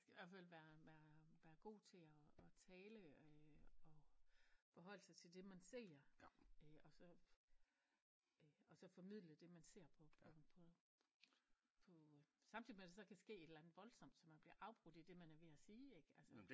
Man skal hvert fald være være være god til at at tale øh og forholde sig til det man ser øh og så øh og så formidle det man ser på på på på samtidig med der så kan ske et eller andet voldsomt så man bliver afbrudt i det man er ved at sige ik altså